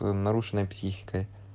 нарушенная психика